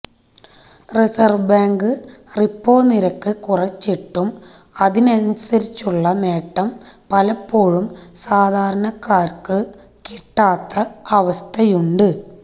reserve bank repo നിരക്ക് കുറച്ചിട്ടും അതിനനുസരിച്ചുള്ള നേട്ടം പലപ്പോഴും സാധാരണക്കാര്ക്ക് കിട്ടാത്ത അവസ്ഥയുണ്ട്